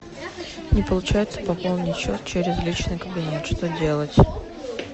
не получается пополнить счет через личный кабинет что делать